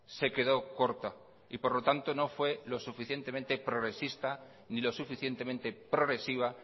se quedó corta y por lo tanto no fue lo suficientemente progresista ni lo suficientemente progresiva